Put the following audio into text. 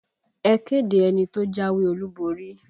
Ẹ kéde ẹni tó jáwé olúborí!